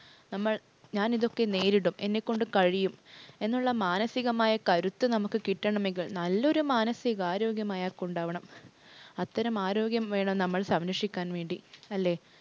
നമ്മൾ ഞാനിതൊക്കെ നേരിടും, എന്നെകൊണ്ട് കഴിയും, എന്നുള്ള മാനസികമായ കരുത്ത് നമുക്ക് കിട്ടണമെങ്കിൽ നല്ലൊരു മാനസികാരോഗ്യം അയാൾക്കുണ്ടാകണം. അത്തരം ആരോഗ്യം വേണം നമ്മൾ സംരക്ഷിക്കാൻ വേണ്ടി അല്ലേ?